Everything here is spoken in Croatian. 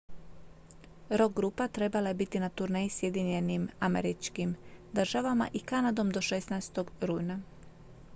rock-grupa trebala je biti na turneji sjedinjenim državama i kanadom do 16. rujna